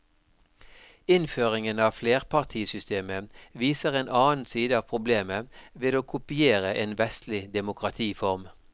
Innføringen av flerpartisystemet viser en annen side av problemet med å kopiere en vestlig demokratiform.